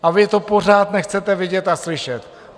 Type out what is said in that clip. A vy to pořád nechcete vidět a slyšet.